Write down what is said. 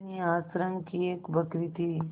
बिन्नी आश्रम की एक बकरी थी